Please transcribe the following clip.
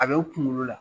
A bɛ u kunkolo la